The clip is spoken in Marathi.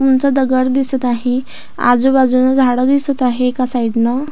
उंच दगड दिसत आहे आजूबाजून झाड दिसत आहे एका साईडन --